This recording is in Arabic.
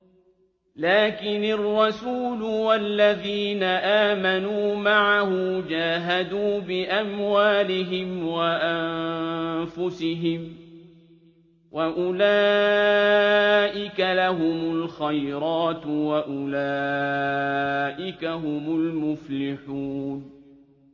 لَٰكِنِ الرَّسُولُ وَالَّذِينَ آمَنُوا مَعَهُ جَاهَدُوا بِأَمْوَالِهِمْ وَأَنفُسِهِمْ ۚ وَأُولَٰئِكَ لَهُمُ الْخَيْرَاتُ ۖ وَأُولَٰئِكَ هُمُ الْمُفْلِحُونَ